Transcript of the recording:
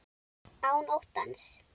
Án óttans.